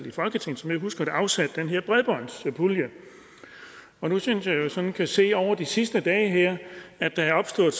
i folketinget som jeg husker det afsat den her bredbåndspulje og nu synes jeg jo sådan kan se over de sidste dage her at der er opstået